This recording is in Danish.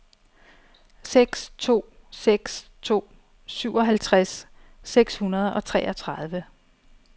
seks to seks to syvoghalvtreds seks hundrede og treogtredive